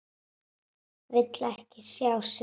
Vill ekki sjá svip hennar.